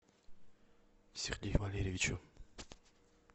сергею валерьевичу